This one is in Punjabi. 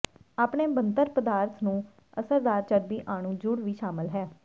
ਆਪਣੇ ਬਣਤਰ ਪਦਾਰਥ ਨੂੰ ਅਸਰਦਾਰ ਚਰਬੀ ਅਣੂ ਜੁੜ ਵੀ ਸ਼ਾਮਲ ਹੈ